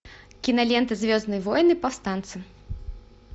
кинолента звездные войны повстанцы